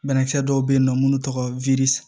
Banakisɛ dɔw bɛ yen nɔ minnu tɔgɔ ye widi